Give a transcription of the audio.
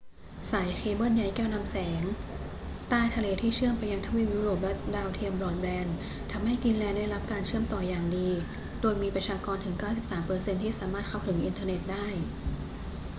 สายเคเบิลใยแก้วนำแสงใต้ทะเลที่เชื่อมไปยังทวีปยุโรปและดาวเทียมบรอดแบนด์ ทำให้กรีนแลนด์ได้รับการเชื่อมต่ออย่างดี โดยมีประชากรถึง 93% ที่สามารถเข้าถึงอินเทอร์เน็ตได้